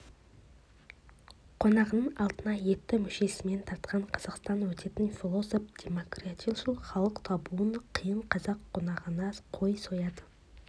қонағының алдына етті мүшесімен тартқан қазақтан өтетін философ демократияшыл халық табуым қиын қазақ қонағына қой сояды